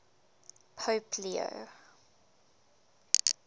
pope leo